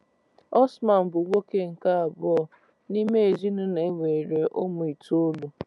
Osman bụ nwoke nke abụọ n’ime ezinụlọ e nwere ụmụ itoolu.